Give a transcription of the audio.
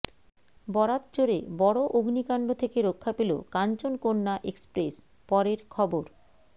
বরাত জোরে বড় অগ্নিকাণ্ড থেকে রক্ষা পেল কাঞ্চনকন্যা এক্সপ্রেস পরের খবর